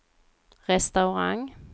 restaurang